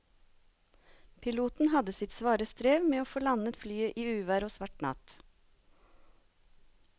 Piloten hadde sitt svare strev med å få landet flyet i uvær og svart natt.